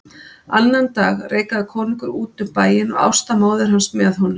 Annan dag reikaði konungur úti um bæinn og Ásta móðir hans með honum.